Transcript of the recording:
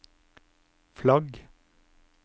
flagg